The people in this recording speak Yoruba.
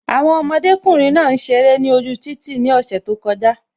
Àwọn ọmọdékùnrin náà ń ṣeré ni ojú títì ni ose tó kọjá